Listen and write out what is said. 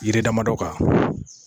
Yiri damadɔ kan